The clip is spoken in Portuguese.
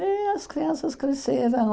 E as crianças cresceram.